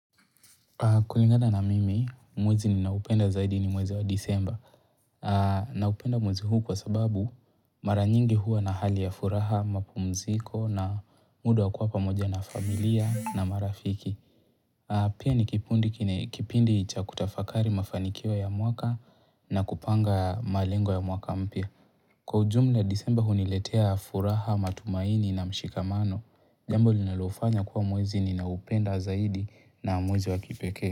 Kulingana na mimi, mwezi ninaoupenda zaidi ni mwezi wa disemba. Naupenda mwezi huu kwa sababu mara nyingi huwa na hali ya furaha, mapumziko na muda wa kuwa pamoja na familia na marafiki. Pia ni kipundi kine kipindi cha kutafakari mafanikio ya mwaka na kupanga malengo ya mwaka mpya. Kwa ujumla, disemba huniletea furaha matumaini na mshikamano. Jambo linilofanya kuwa mwezi ninaoupenda zaidi na mwezi wa kipekee.